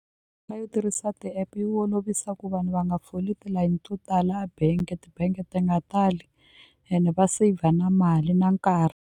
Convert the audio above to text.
yo tirhisa ti-app yi olovisa ku vanhu va nga foli tilayini to tala a bank ti-bank ti nga tali ene va saver na mali na nkarhi.